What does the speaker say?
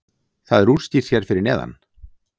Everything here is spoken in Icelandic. það er útskýrt hér fyrir neðan